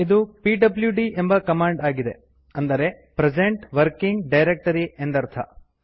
ಇದು ಪಿಡ್ಲ್ಯೂಡಿ ಎಂಬ ಕಮಾಂಡ್ ಆಗಿದೆ ಅಂದರೆ ಪ್ರೆಸೆಂಟ್ ವರ್ಕಿಂಗ್ ಡೈರೆಕ್ಟರಿ ಎಂದರ್ಥ